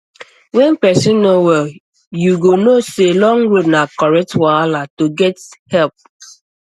when person no well you go know say long road na correct wahala to take get help help